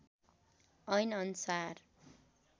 ऐन अनुसार